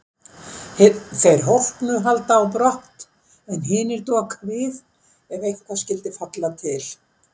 Þeir hólpnu halda á brott en hinir doka við ef eitthvað skyldi falla til.